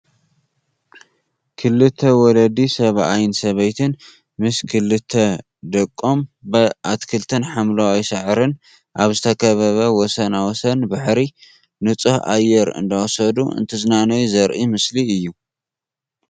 ክልተ ወለዲ ሰብኣይን ሰበይትን ምስ ክልተ ደቆም ብኣትክልትን ሓምለዋይ ሳዕርን ኣብ ዝተከበበ ወሰን ወሰን ባሕሪ ንፁህ ኣየር እንዳወሰዱ እንትዝናነዩ ዘርኢ ምስሊ።